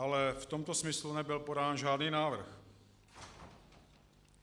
Ale v tomto smyslu nebyl podán žádný návrh.